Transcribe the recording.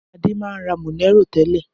Adé máa ń ra Monero tẹ́lẹ̀.